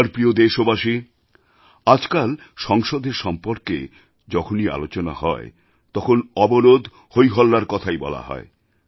আমার প্রিয় দেশবাসী আজকাল সংসদের সম্পর্কে যখনই আলোচনা হয় তখন অবরোধ হইহল্লার কথাই বলা হয়